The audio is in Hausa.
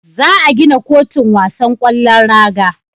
Za a gina kotun wasan kwallon raga